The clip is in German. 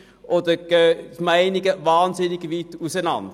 Die Meinungen gehen dabei sehr weit auseinander.